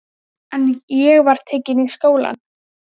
En ég var tekin í skólann.